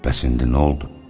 Bəs indi nə oldu?